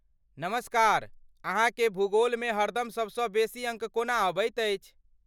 नमस्कार, अहाँकेँ भूगोलमे हरदम सबसँ बेसी अङ्क कोना अबैत अछि?